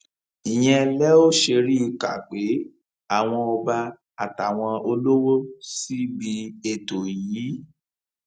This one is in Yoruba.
ìyẹn lẹ ò ṣe rí i kà pé àwọn ọba àtàwọn olówó síbi ètò yìí